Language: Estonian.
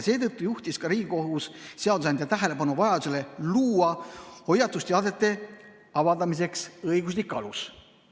Seetõttu juhtis ka Riigikohus seadusandja tähelepanu vajadusele luua hoiatusteadete avaldamiseks õiguslik alus.